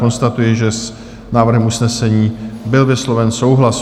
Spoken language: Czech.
Konstatuji, že s návrhem usnesení byl vysloven souhlas.